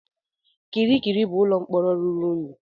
Kirikiri bụ ụlọ mkpọrọ ruru unyi.